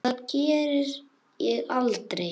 Það geri ég aldrei